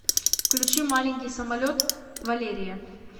включи маленький самолет валерия